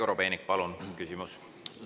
Andrei Korobeinik, palun, küsimus!